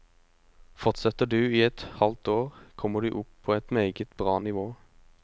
Fortsetter du i et halvt år, kommer du opp på et meget bra nivå.